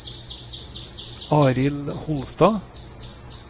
Arild Holstad